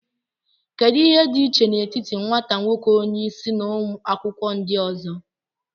Kedu ihe dị iche n'etiti nwata nwoke onye isi na ụmụ akwụkwọ ndị ọzọ